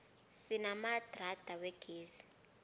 sinamadrada wegezi